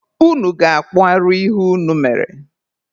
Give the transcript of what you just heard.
Unu ga-akpụ arụ ihe unu mere!